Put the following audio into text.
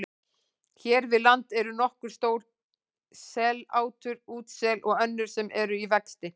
Hér við land eru nokkur stór sellátur útsela og önnur sem eru í vexti.